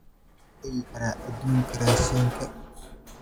sidee ku tagi karaa dukaanka raashinka